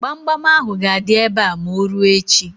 Gbamgbam ahụ ga-adị ebe a ma o ruo echi.